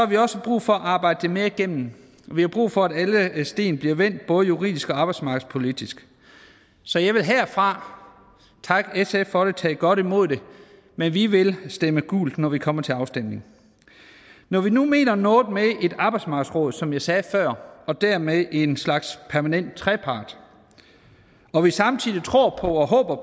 vi også brug for at arbejde det mere igennem og vi har brug for at alle sten bliver vendt både juridisk og arbejdsmarkedspolitisk så jeg vil herfra takke sf for det og tage godt imod det men vi vil stemme gult når vi kommer til afstemningen når vi nu mener noget med et arbejdsmarkedsråd som jeg sagde før og dermed en slags permanent trepart og vi samtidig tror på og håber